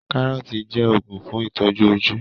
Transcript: Kárọ́ọ̀tì jẹ́ òògùn fún ìtọ́jú ojú